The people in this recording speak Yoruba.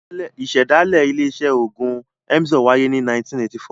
Ìṣẹ̀dálẹ̀ ilé-iṣẹ́ òògùn Emzor wáyé ní 1984.